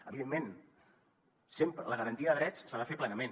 evidentment sempre la garantia de drets s’ha de fer plenament